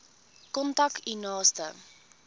kontak u naaste